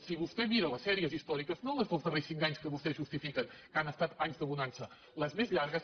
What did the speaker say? si vostè mira les sèries històriques no les dels darrers cinc anys que vostès justifiquen que han estat anys de bonança les més llargues